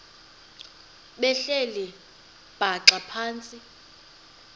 behleli bhaxa phantsi